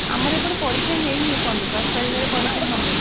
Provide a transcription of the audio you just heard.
ଆମର ଏପଟରେ ପରୀକ୍ଷା ହେଇନି ଏପର୍ଯ୍ୟନ୍ତ ଦଶ ତାରିଖରେ ପରୀକ୍ଷା ହବ ।